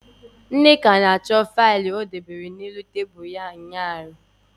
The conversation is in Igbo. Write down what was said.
Nneka na-achọ faịlụ o dobere n'elu nkwago ya ụnyaahụ.